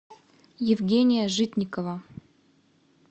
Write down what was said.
евгения житникова